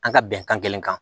An ka bɛnkan kelen kan